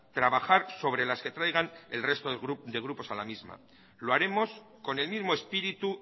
trabajar sobre las que traigan el resto de grupos a la misma lo haremos con el mismo espíritu